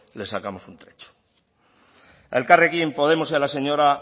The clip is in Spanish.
les sacamos un trecho a elkarrekin podemos y a la señora